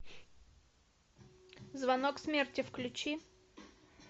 звонок смерти включи